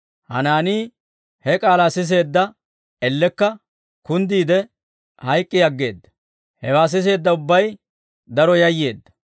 Hanaanii he k'aalaa siseedda elekka kunddiide hayk'k'i aggeedda; hewaa siseedda ubbay daro yayyeedda.